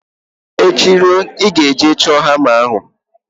Echi ruo, ị ga-eje chọọ hama ahụ!